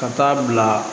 Ka taa bila